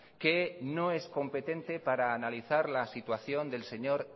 que no es competente para analizar la situación del señor